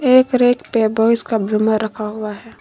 एक रैक पे रखा हुआ है।